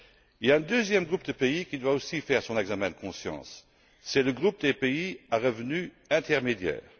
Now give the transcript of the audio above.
Il y a un deuxième groupe de pays qui doit aussi faire son examen de conscience, c'est le groupe des pays à revenus intermédiaires.